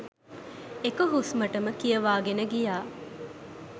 එක හුස්මටම කියවගෙන ගියා